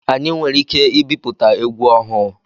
Anyị nwere ike ibipụta egwu ọhụụ.